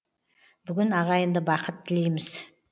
бүгін ағайынды бақыт тілейміз